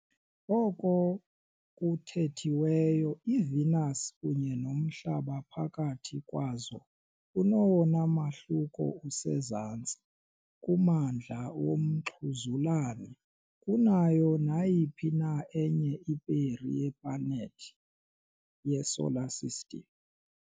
Oko kuthethiweyo, iVenus kunye noMhlaba phakathi kwazo unowona mahluko usezantsi kumandla womxhuzulane kunayo nayiphi na enye iperi yeplanethi yeSolar System.